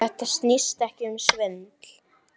Þetta snýst ekki um svindl.